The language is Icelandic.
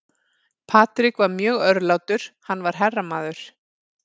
Patrick var mjög örlátur, hann var herramaður.